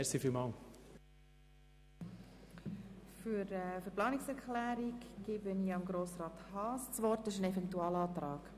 Für die Planungserklärung zum EP 2018 erteile ich Grossrat Haas das Wort.